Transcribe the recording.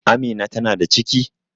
Amina ta na da ciki?